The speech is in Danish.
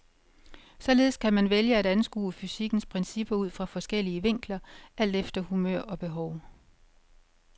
Således kan man vælge at anskue fysikkens principper ud fra forskellige vinkler, alt efter humør og behov.